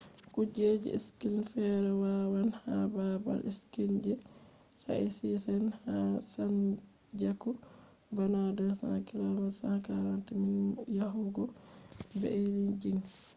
kujeji skiing feere wonnan ha baabal skiing je taizichend ha zhangjiakou bana 200 km 140 miles yahugo beijing